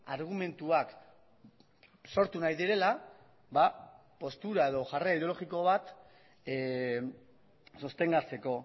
argumentuak sortu nahi direla postura edo jarrera ideologiko bat sostengatzeko